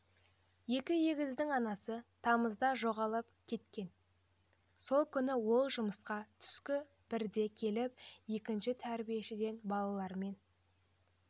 екі егіздің анасы тамызда жоғалып кеткен сол күні ол жұмысқа түскі бірде келіп екінші тәрбиешіден балалармен